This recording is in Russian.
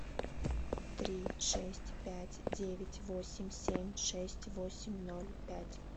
три шесть пять девять восемь семь шесть восемь ноль пять